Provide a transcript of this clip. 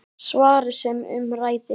Svarið sem um ræðir